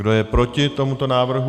Kdo je proti tomuto návrhu?